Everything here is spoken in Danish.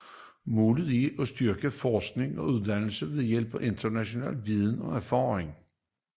Målet er at styrke forskning og uddannelse ved hjælp af international viden og erfaringer